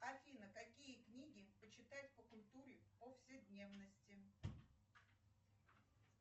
афина какие книги почитать по культуре повседневности